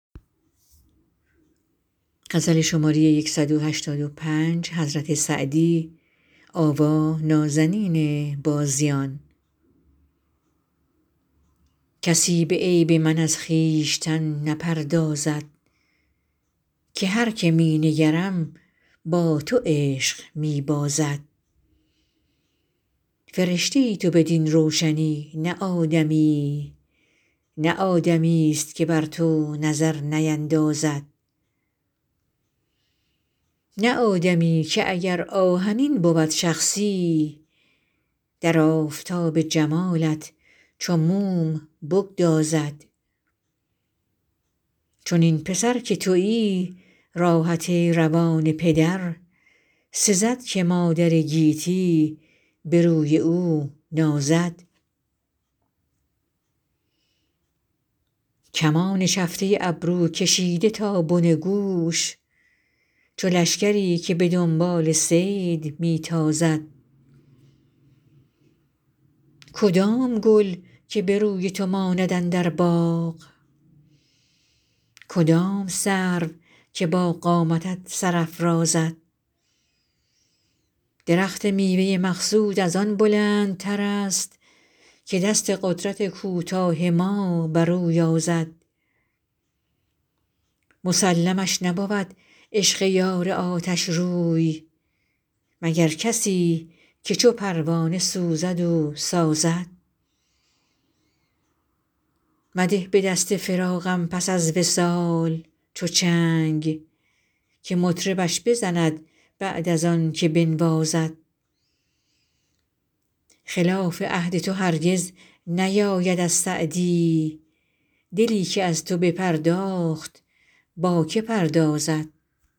کسی به عیب من از خویشتن نپردازد که هر که می نگرم با تو عشق می بازد فرشته ای تو بدین روشنی نه آدمیی نه آدمیست که بر تو نظر نیندازد نه آدمی که اگر آهنین بود شخصی در آفتاب جمالت چو موم بگدازد چنین پسر که تویی راحت روان پدر سزد که مادر گیتی به روی او نازد کمان چفته ابرو کشیده تا بن گوش چو لشکری که به دنبال صید می تازد کدام گل که به روی تو ماند اندر باغ کدام سرو که با قامتت سر افرازد درخت میوه مقصود از آن بلندترست که دست قدرت کوتاه ما بر او یازد مسلمش نبود عشق یار آتشروی مگر کسی که چو پروانه سوزد و سازد مده به دست فراقم پس از وصال چو چنگ که مطربش بزند بعد از آن که بنوازد خلاف عهد تو هرگز نیاید از سعدی دلی که از تو بپرداخت با که پردازد